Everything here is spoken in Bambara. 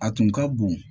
A tun ka bon